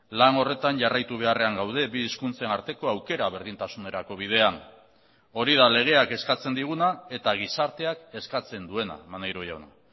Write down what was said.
lan horretan jarraitu beharrean gaude bi hizkuntzen arteko aukera berdintasunerako bidean hori da legeak eskatzen diguna eta gizarteak eskatzen duena maneiro jauna